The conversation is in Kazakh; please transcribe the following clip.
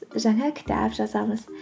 жаңа кітап жазамыз